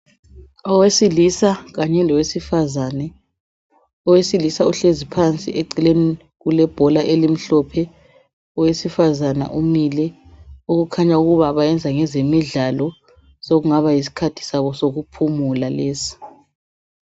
Owesilisa kanye lowesifazane. Owesilisa uhlezi phansi eceleni kulebhola elimhlophe. Owesifazana umile okukhanya ukuba bayenza ngezemidlalo sokungaba yiskhathi sabo sokuphumula lesi.